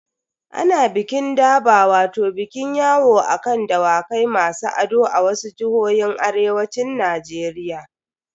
Ana bikin durbar wato bikin yawo a kan Dawakai masu ado a wasu jihohin arewacin Najeriya.